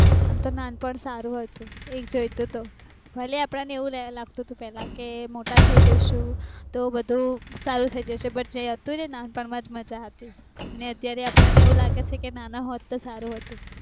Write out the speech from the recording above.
અમ તો નાનપણ સારું હતું એક જોયતા તો તો ભલે અપ્દને એવું લાગતું કે પેલા ક મોટા થાય જસુ તો બધું સારું થાય જશે પણ જે નાનપણ મજ મજા હતી